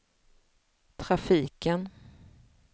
trafiken